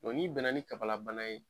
ni bɛnna ni kafalabana ye